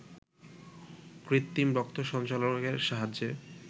কৃত্রিম রক্ত সঞ্চালনের সাহায্যে